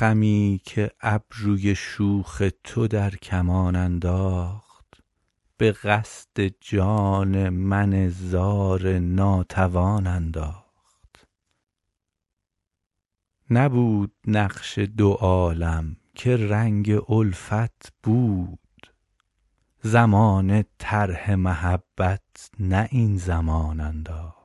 خمی که ابروی شوخ تو در کمان انداخت به قصد جان من زار ناتوان انداخت نبود نقش دو عالم که رنگ الفت بود زمانه طرح محبت نه این زمان انداخت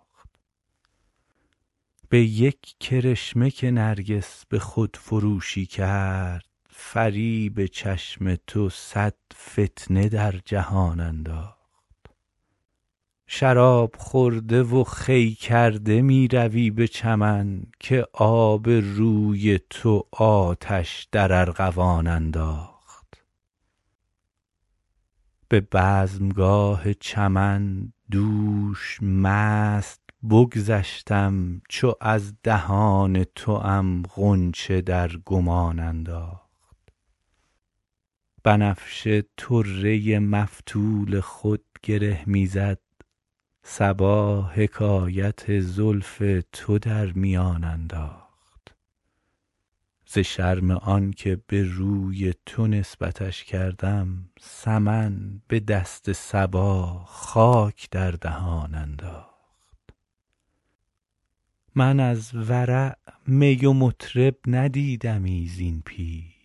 به یک کرشمه که نرگس به خودفروشی کرد فریب چشم تو صد فتنه در جهان انداخت شراب خورده و خوی کرده می روی به چمن که آب روی تو آتش در ارغوان انداخت به بزمگاه چمن دوش مست بگذشتم چو از دهان توام غنچه در گمان انداخت بنفشه طره مفتول خود گره می زد صبا حکایت زلف تو در میان انداخت ز شرم آن که به روی تو نسبتش کردم سمن به دست صبا خاک در دهان انداخت من از ورع می و مطرب ندیدمی زین پیش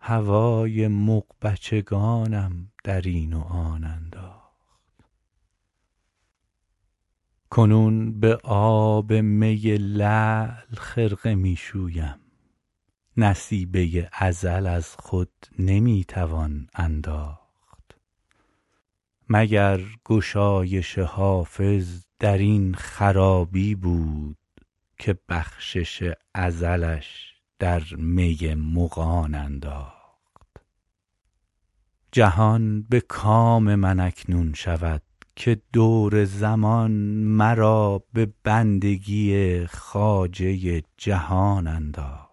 هوای مغبچگانم در این و آن انداخت کنون به آب می لعل خرقه می شویم نصیبه ازل از خود نمی توان انداخت مگر گشایش حافظ در این خرابی بود که بخشش ازلش در می مغان انداخت جهان به کام من اکنون شود که دور زمان مرا به بندگی خواجه جهان انداخت